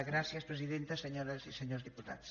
gràcies presidenta senyores i senyors diputats